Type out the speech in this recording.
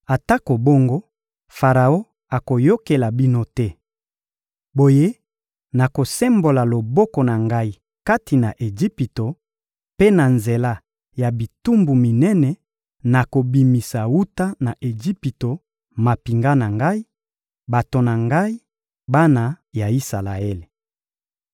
Atako bongo, Faraon akoyokela bino te. Boye, nakosembola loboko na Ngai kati na Ejipito; mpe na nzela ya bitumbu minene, nakobimisa wuta na Ejipito mampinga na Ngai, bato na Ngai, bana ya Isalaele.